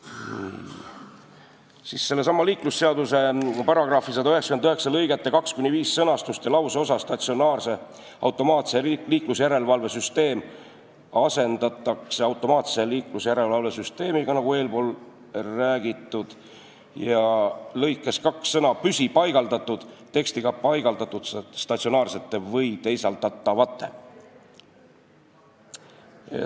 Eelnõuga muudetakse sellesama liiklusseaduse § 199 lõigete 2–5 sõnastust ja lauseosa "statsionaarse automaatse liiklusjärelevalve süsteemi" asendatakse lauseosaga "automaatse liiklusjärelevalve süsteemi", nagu eespool räägitud, ning lõikes 2 asendatakse sõna "püsipaigaldatud" tekstiga "paigaldatud statsionaarsete või teisaldatavate".